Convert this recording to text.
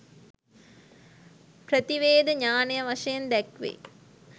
ප්‍රතිවේධ ඤාණය වශයෙන් දැක්වේ.